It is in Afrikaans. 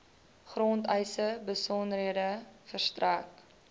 grondeise besonderhede verstrek